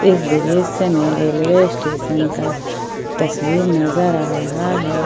इस दृश्य में रेलवे स्टेशन का तस्वीर नजर आ रहा है।